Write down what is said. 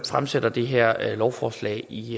fremsætter det her lovforslag i